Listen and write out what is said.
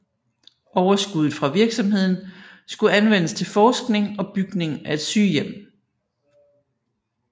Overskuddet fra virksomheden skulle anvendes til forskning og bygning af et sygehjem